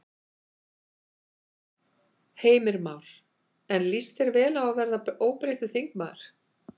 Heimir Már: En líst þér vel á að verða óbreyttur þingmaður?